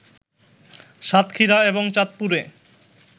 সাতক্ষীরা এবং চাঁদপুরে